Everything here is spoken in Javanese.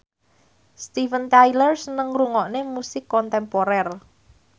Steven Tyler seneng ngrungokne musik kontemporer